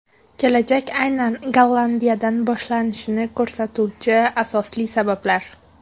Kelajak aynan Gollandiyadan boshlanishini ko‘rsatuvchi asosli sabablar .